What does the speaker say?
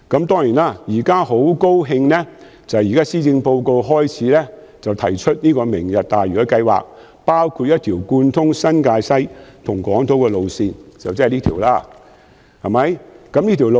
當然，我現在很高興聽到施政報告提出"明日大嶼"計劃，包括興建一條貫通新界西和港島的路線，就是這條路線。